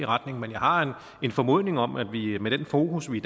retninger men jeg har en formodning om at vi med den fokus vi